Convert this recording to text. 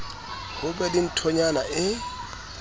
ho be le nthonyana e